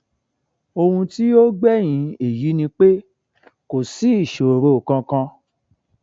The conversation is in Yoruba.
ohun tí ó gbẹyìn èyí ni pé kò sí ìṣòro kankan